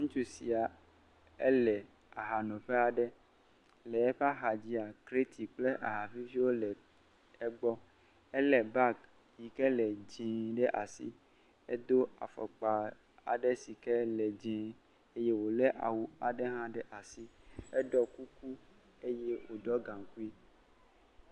Ŋutsu sia le ahanoƒe aɖe. Le eƒe axadzia, krati kple aha viviwo le egbɔ. Ele bag yi ke le dzɛ̃ ɖe asi. Edo afɔkpɔ aɖe si ke le dzɛ̃eye wolé awu aɖe hã ɖe asi. Eɖɔ kuku eye woɖɔ gaŋkui.